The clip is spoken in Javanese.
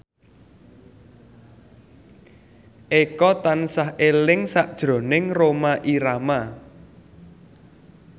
Eko tansah eling sakjroning Rhoma Irama